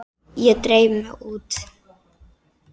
Ég dreif mig út.